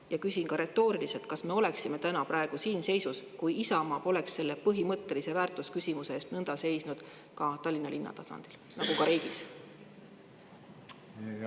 Ja küsin retooriliselt: kas me oleksime praegu sellises seisus, kui Isamaa poleks selle põhimõttelise väärtusküsimuse eest nõnda seisnud Tallinna linna tasandil, nagu ka riigis?